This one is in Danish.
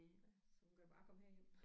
Ja så hun kan bare kommer herhjem